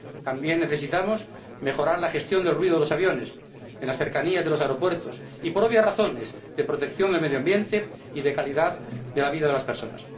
También necesitamos mejorar la gestión del ruido de los aviones en las cercanías de los aeropuertos, por razones obvias de protección del medio ambiente y de calidad de la vida de las personas.